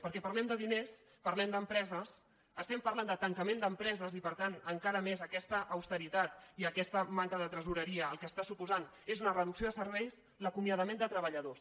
perquè parlem de diners parlem d’empreses parlem de tancament d’empre·ses i per tant encara més aquesta austeritat i aquesta manca de tresoreria el que suposa és una reducció de serveis l’acomiadament de treballadors